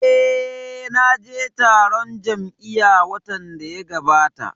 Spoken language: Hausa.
Eh, na je taron jam'iya watan da ya gabata